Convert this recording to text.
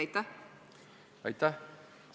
Aitäh!